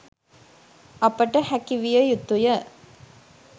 අපට හැකි විය යුතුය